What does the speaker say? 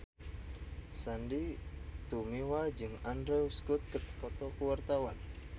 Sandy Tumiwa jeung Andrew Scott keur dipoto ku wartawan